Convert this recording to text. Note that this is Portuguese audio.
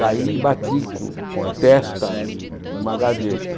Caí e bati com com a testa numa gaveta.